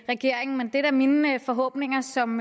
regeringen men det er da mine forhåbninger som